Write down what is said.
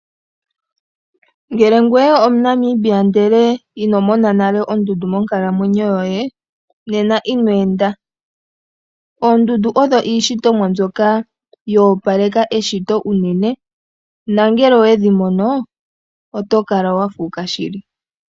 Ngele ngwe omuNamibia ndele ino mona nale ondundu monkalamwenyo yoye nena ino enda. Oondundu odho iishitomwa mbyoka yo opaleka eshito unene nangele owedhi mono oto kala wa fuuka shili.